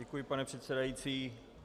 Děkuji, pane předsedající.